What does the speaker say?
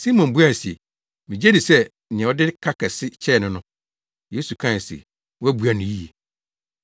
Simon buae se, “Migye di sɛ nea ɔde ne ka kɛse kyɛɛ no no.” Yesu kae se, “Woabua no yiye.”